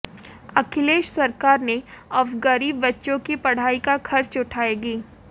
अखिलेश सरकार ने अब गरीब बच्चों की पढ़ाई का खर्च उठाएगी